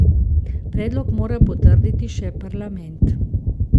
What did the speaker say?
Predlog mora potrditi še parlament.